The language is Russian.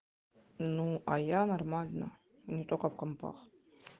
ну а я нормально не только в компах